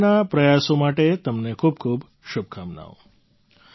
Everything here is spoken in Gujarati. ભવિષ્યના પ્રયાસો માટે તમને ખૂબ ખૂબ શુભકામનાઓ